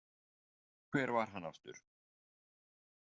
Hver var hann aftur?